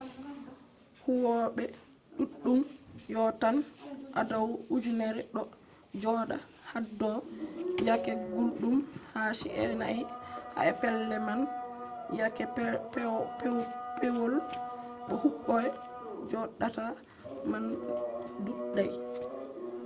huwoɓe ɗuɗɗum yottan adau ujunerre ɗo joɗa haɗɗo yake gulɗum ha chi’e nai ha pellel man yake pewol bo huwoɓe joɗata man ɗuuɗai